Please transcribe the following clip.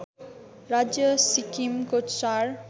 राज्य सिक्किमको चार